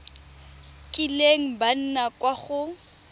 kileng ba nna kwa go